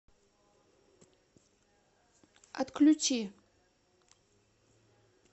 отключи